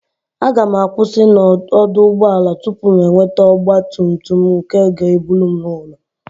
A gam akwusi na oduugboala tupu m nwete ogba tum tum nke ga eburu m ulo